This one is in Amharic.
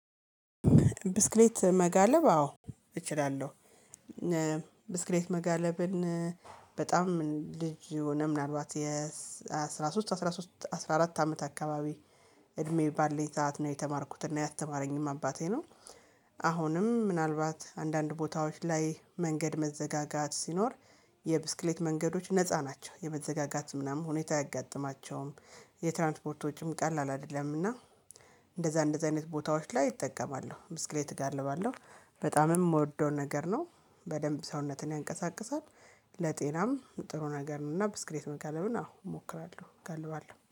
ብስክሌት እ መጋለብ አዎ እችላለሁ። እእ ብስክሌት መጋለብን እ በጣም ልጅ ሁነን ምናልባት የስ አስራ ሶስት አስራ ሶስት አስራ አራት አመት አካባቢ እድሜ ባለኝ ሰዓት ነው የተማርኩት እና ያስተማረኝም አባቴ ነው። አ አሁንም ምናልባት አንዳንድ ቦታዎች ላይ መንገድ መዘጋጋት ሲኖር የብስክሌት መንገዶች ነፃ ናቸው የመዘጋጋት ምናምን ሁኔታ አያጋጥማቸውም። የትራንፖርት ወጭም ቀላል አይደለምና። እንደዛ እንደዛ አይነት ቦታዎች ላይ እጠቀማለሁ ብስክሌት እጋልባለሁ። በጣምም የምወደው ነገር ነው። በደንብ ሰውነትን ያንቀሳቅሳል ለጤናም ጥሩ ነገር ነው። እና ብስክሌት መጋለብን አዎ እሞክራለሁ እጋልባለሁ